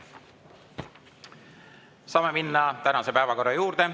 Saame minna tänase päevakorra juurde.